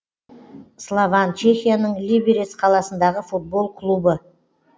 слован чехияның либерец қаласындағы футбол клубы